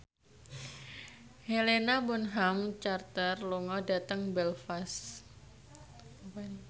Helena Bonham Carter lunga dhateng Belfast